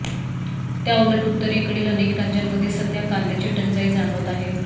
त्याउलट उत्तरेकडील अनेक राज्यांमध्ये सध्या कांद्याची टंचाई जाणवत आहे